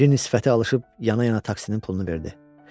Cinnin sifəti alışıb yana-yana taksinin pulunu verdi.